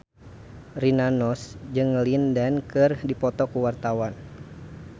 Rina Nose jeung Lin Dan keur dipoto ku wartawan